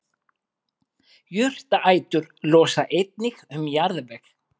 jurtaætur losa einnig um jarðveg